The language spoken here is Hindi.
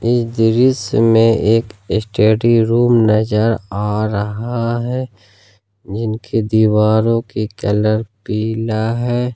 ये दृश्य में एक स्टडी रूम नजर आ रहा हैं जिनके दीवारों के कलर पिला है।